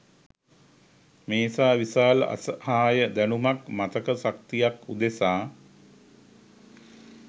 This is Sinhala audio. මේසා විශාල අසහාය දැනුමක්, මතක ශක්තියක් උදෙසා